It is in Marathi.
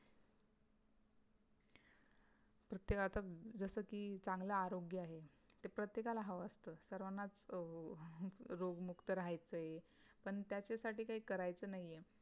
प्रत्येकाचं जस कि चांगला आरोग्य आहे ते प्रत्येकाला हवं असत सर्वानाच रोगमुक्त राहायचं आहे पण त्याच्यासाठी काही करायचं नाहीय